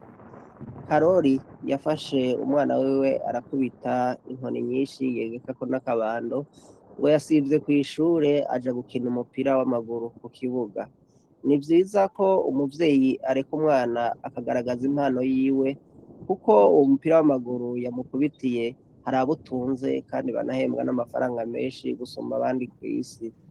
Karori yafashe umwana wiwe arakubita inkoni nyinshi yegekako n’akabando, uwo yasivye kw’ishure aja gukina umupira w’amaguru kukibuga. Nivyiza ko umuvyeyi areka umwana akagaragaza impano yiwe kuko uwo umupira w’amaguru yamukubitiye harabutunze kandi banahembwa n’amafaranga menshi gusumba abandi kw’isi.